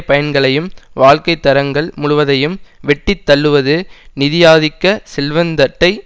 பயன்களையும் வாழ்க்கை தரங்கள் முழுவதையும் வெட்டி தள்ளுவது நிதியாதிக்க செல்வந்தட்டை